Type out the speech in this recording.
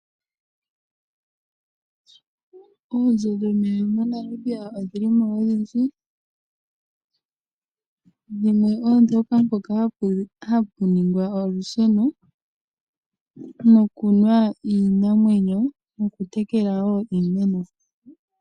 Oonzo dhomeya moNamibia odhilimo odhindji, dhimwe oodhoka mpoka hapuningwa olusheno nokunwa iinamwenyo nokutekela woo iimeno.